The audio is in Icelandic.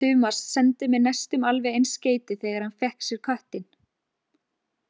Tumas sendi mér næstum alveg eins skeyti þegar hann fékk sér köttinn.